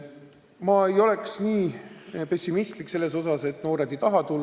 Ma ei ole nii pessimistlik selles osas, et noored ei taha päästjaks hakata.